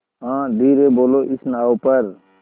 हाँ धीरे बोलो इस नाव पर